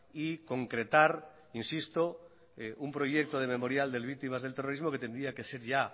y concretar insisto un proyecto de memorial de víctimas del terrorismo que tendría que ser ya